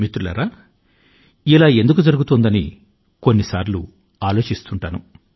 మిత్రులారా ఇలా ఎందుకు జరుగుతోంది అని కొన్ని సార్లు ఆలోచిస్తుంటాను